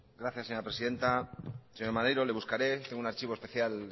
gracias señora presidenta señor maneiro le buscaré tengo un archivo especial